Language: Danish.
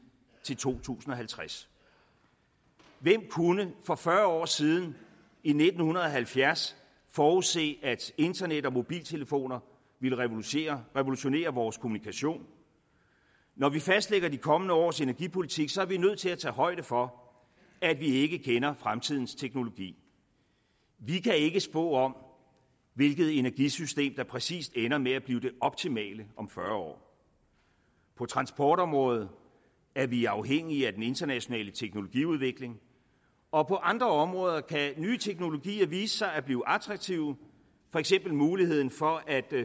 til to tusind og halvtreds hvem kunne for fyrre år siden i nitten halvfjerds forudse at internet og mobiltelefoner ville revolutionere revolutionere vores kommunikation når vi fastlægger de kommende års energipolitik er vi nødt til at tage højde for at vi ikke kender fremtidens teknologi vi kan ikke spå om hvilket energisystem der præcis ender med at blive det optimale om fyrre år på transportområdet er vi afhængige af den internationale teknologiudvikling og på andre områder kan nye teknologier vise sig at blive attraktive for eksempel muligheden for at